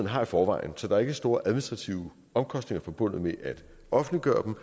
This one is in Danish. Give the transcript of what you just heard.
har i forvejen så der er ikke store administrative omkostninger forbundet med at offentliggøre